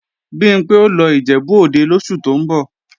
Bimpé ó lọ Ìjẹ̀bú-Òde lóṣù tó ń bọ̀